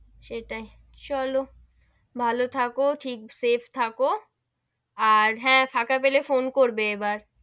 সেটাই চলো ভালো থাকো ঠিক safe থাকো, আর হেঁ ফাঁকা পেলে ফোন করবে এবার,